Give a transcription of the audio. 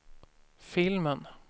filmen